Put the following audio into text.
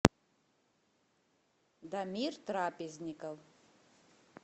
дамир трапезников